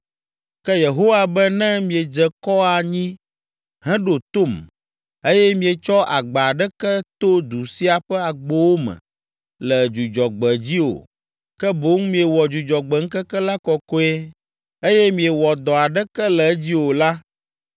Ke Yehowa be ne miedze kɔ anyi heɖo tom, eye mietsɔ agba aɖeke to du sia ƒe agbowo me le Dzudzɔgbe dzi o, ke boŋ miewɔ Dzudzɔgbe ŋkeke la kɔkɔe, eye miewɔ dɔ aɖeke le edzi o la,